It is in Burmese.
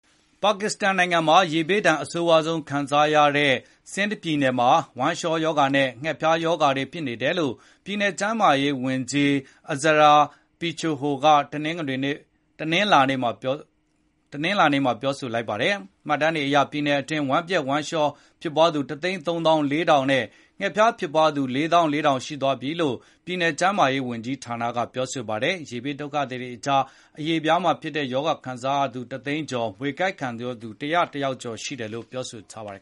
ပါကစ္စတန်နိုင်ငံမှာ ရေဘေးဒဏ် အဆိုးဝါးဆုံး ခံစားခဲ့ရတဲ့ Sindh ပြည်နယ်မှာ ဝမ်းလျှောရောဂါနဲ့ ငှက်ဖျားရောဂါတွေ ဖြစ်နေတယ်လို့ ပြည်နယ်ကျန်းမာရေးဝန်ကြီး Azra Pechuho က တနင်္ဂနွေနေ့မှာ ပြောဆိုလိုက်ပါတယ်။ မှတ်တမ်းတွေအရ ပြည်နယ်အတွင်း ဝမ်းပျက်ဝမ်းလျှော ဖြစ်ပွားသူ ၁၃၄,၀၀၀နဲ့ ငှက်ဖျားဖြစ်သူ ၄၄,၀၀၀ ရှိသွားပြီလို့ ပြည်နယ်ကျန်းမာရေးဝန်ကြီးကပြောပါတယ်။ ရေဘေးဒုက္ခသည်တွေအကြား အရေပြားမှာဖြစ်တဲ့ ရောဂါခံစားရသူ ၁၀၀,၀၀၀ ကျော်၊ မြွေကိုက်ခံရသူ ၁၀၁ ယောက်နဲ့ ခွေးကိုက်ခံရသူ ၅၀၀ ရှိတယ်လို့လည်းဆိုပါတယ်